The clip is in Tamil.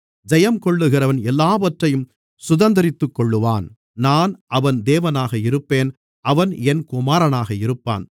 ஜெயங்கொள்ளுகிறவன் எல்லாவற்றையும் சுதந்தரித்துக்கொள்ளுவான் நான் அவன் தேவனாக இருப்பேன் அவன் என் குமாரனாக இருப்பான்